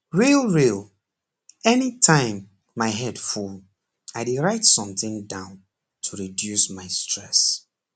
real real anytime my head full i dey write something down to reduce my stress